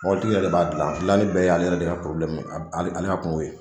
Mɔbili tigi yɛrɛ de b'a gilan a gilanni bɛɛ ye ale yɛrɛ de ka ale ale ka kungo ye.